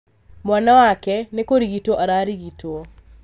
Mwana wake nĩkũrigitwo ararigitwo